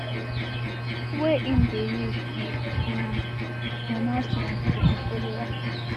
wey im dey use give um pronouncements to im followers